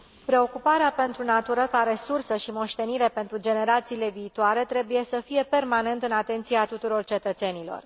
Preocuparea pentru natură ca resursă și moștenire pentru generațiile viitoare trebuie să fie permanent în atenția tuturor cetățenilor.